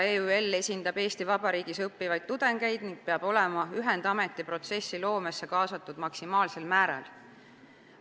EÜL esindab Eesti Vabariigis õppivaid tudengeid ning peab olema ühendameti protsessi loomesse kaasatud maksimaalsel määral.